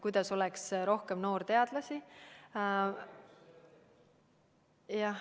Kuidas oleks rohkem noorteadlasi?